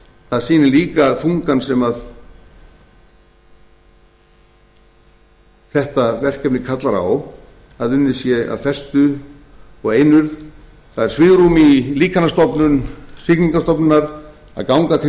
það sýnir líka að tungan sem þetta verkefni kallar á að unnið sé af festu og einurð það er svigrúm í líkanastofnun siglingastofnunar að ganga til